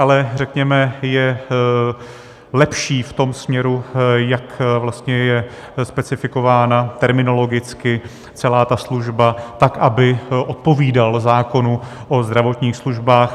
Ale řekněme je lepší v tom směru, jak je specifikována terminologicky celá ta služba tak, aby odpovídala zákonu o zdravotních službách.